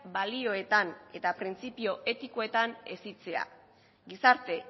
balioetan eta printzipio etikoetan hezitzea gizarte